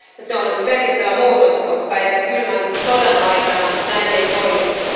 Se on merkittävä muutos, koska edes kylmän sodan aikana näin ei toimittu.